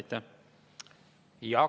Jaak Aab, palun!